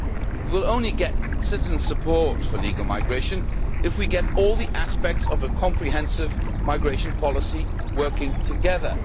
We will only get citizen support for legal migration if we get all the aspects of a comprehensive migration policy working together.